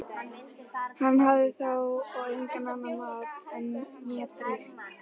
Hann hafði þá og engan mat né drykk.